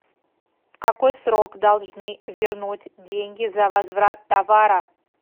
в какой срок должны вернуть деньги за возврат товара